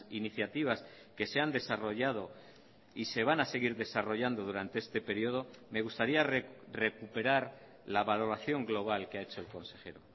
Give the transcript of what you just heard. iniciativas que se han desarrollado y se van a seguir desarrollando durante este periodo me gustaría recuperar la valoración global que ha hecho el consejero